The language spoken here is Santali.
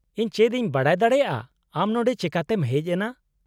-ᱤᱧ ᱪᱮᱫ ᱤᱧ ᱵᱟᱰᱟᱭ ᱫᱟᱲᱮᱭᱟᱜᱼᱟ ᱟᱢ ᱱᱚᱸᱰᱮ ᱪᱮᱠᱟᱛᱮᱢ ᱦᱮᱡ ᱮᱱᱟ ?